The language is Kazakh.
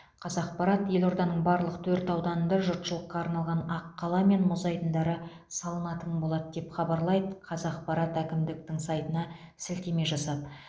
қазақпарат елорданың барлық төрт ауданында жұртшылыққа арналған аққала мен мұз айдындары салынатын болады деп хабарлайды қазақпарат әкімдіктің сайтына сілтеме жасап